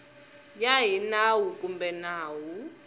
ya hi nawu kumbe nawu